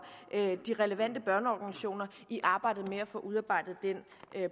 de relevante børneorganisationer i arbejdet med at få udarbejdet den